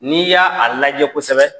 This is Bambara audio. N'i y'aa a lajɛ kosɛbɛ